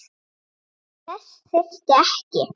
En þess þyrfti ekki.